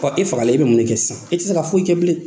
i fagala e bɛ mun ne kɛ sisan? i tɛ se ka foyi kɛ bilen.